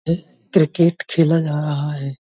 Cricket खेला जा रहा है।